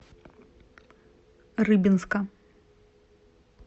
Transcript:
рыбинска